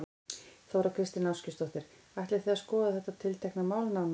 Þóra Kristín Ásgeirsdóttir: Ætlið þið að skoða þetta tiltekna mál nánar?